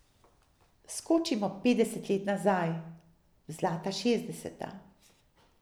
Skočimo petdeset let nazaj, v zlata šestdeseta.